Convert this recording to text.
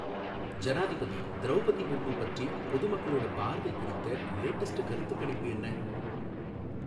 ஜனாதிபதி திரௌபதி முர்மு பற்றி பொது மக்களோட பார்வை குறித்த லேட்டஸ்ட் கருத்துக்கணிப்பு என்ன